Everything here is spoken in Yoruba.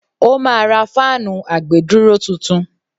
ó ma ra fáànù àgbèdúró tuntun.